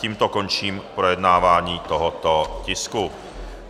Tím končím projednávání tohoto tisku.